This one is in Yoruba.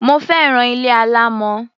Mo fẹ́ràn ilé alámọ̀.